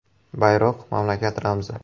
Bayroq – mamlakat ramzi.